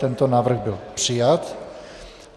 Tento návrh byl přijat.